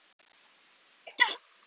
Nei, bíddu hægur!